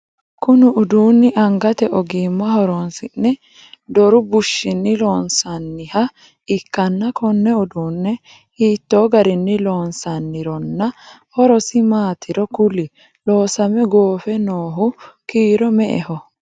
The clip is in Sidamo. Kunni uduunni angate ogimma horoonsi'ne doru bushinni loonsoonniha ikanna Konne uduune hiitoo garinni loonsannironna horosi maatiro kuli? Loosame goofe noohu kiiro me"eho?